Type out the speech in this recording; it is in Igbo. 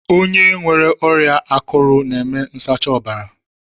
Onye nwere ọrịa akụrụ n'eme nsacha ọbara